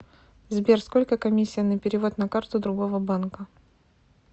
сбер сколько комиссия на перевод на карту другого банка